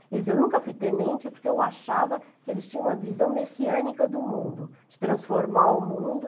Ele dizia, eu nunca fui tenente porque eu achava que eles tinham uma visão messiânica do mundo, de transformar o mundo.